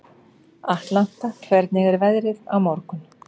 Atlanta, hvernig er veðrið á morgun?